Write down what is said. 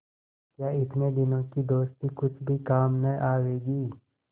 क्या इतने दिनों की दोस्ती कुछ भी काम न आवेगी